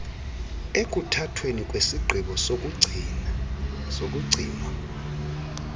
ekuthathweni kwesigqibo sokugcinwa